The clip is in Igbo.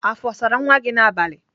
Afọ ọ sara nwa gị n'abalị?